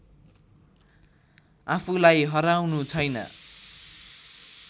आफूलाई हराउनु छैन